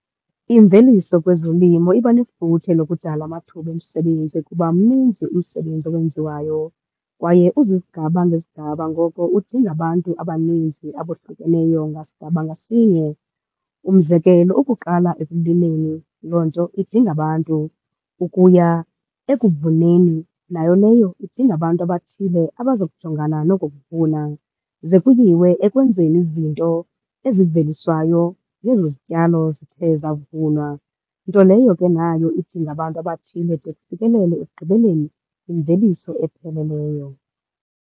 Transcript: Imveliso kwezolimo iba nefuthe lokudala amathuba omsebenzi ukuba mninzi umsebenzi owenziwayo kwaye uzizigaba ngezigaba, ngoko udinga abantu abaninzi abohlukeneyo ngasigaba ngasinye. Umzekelo ukuqala ekulimeni, loo nto idinga abantu ukuya ekuvuneni, nayo leyo idinga abantu abathile abazokujongana noko kuvuna. Ze kuyiwe ekwenzeni izinto eziveliswayo ngezo zityalo zithe zavunwa, nto leyo ke nayo idinga abantu abathile de kufikelele ekugqibeleni imveliso epheleleyo.